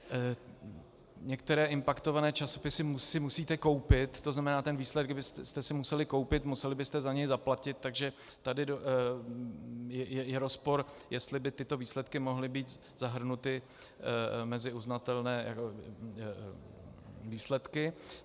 Některé impaktované časopisy si musíte koupit, to znamená, ten výsledek byste si museli koupit, museli byste za něj zaplatit, takže tady je rozpor, jestli by tyto výsledky mohly být zahrnuty mezi uznatelné výsledky.